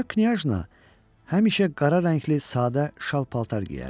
Qoca Knyajna həmişə qara rəngli sadə şal paltar geyərdi.